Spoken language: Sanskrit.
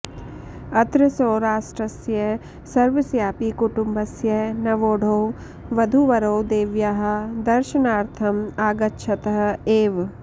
अत्र सौराष्ट्रस्य सर्वस्यापि कुटुम्बस्य नवोढौ वधूवरौ देव्याः दर्शनार्थम् आगच्छतः एव